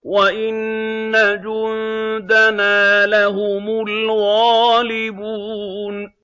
وَإِنَّ جُندَنَا لَهُمُ الْغَالِبُونَ